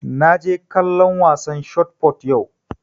Na je kallon wasan shot fot yau